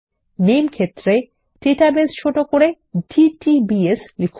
নামে ক্ষেত্রে ডাটাবেস ছোট করে ডিটিবিএস লিখুন